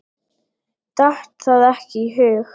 Datt það ekki í hug.